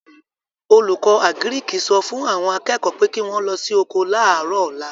Olùkọ́ àgíríkì sọ fún àwọn akẹ́kọ̀ọ́ pé kí wọ́n lọ sí oko láàrọ̀ ọ̀la